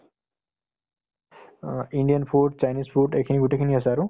অ, Indian food, Chinese food এইখিনি গোটেইখিনি আছে আৰু